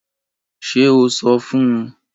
Ṣe o sọ fun u!?